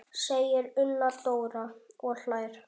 segir Una Dóra og hlær.